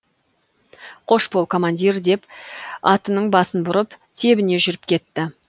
қош бол командир деп атының басын бұрып тебіне жүріп кетті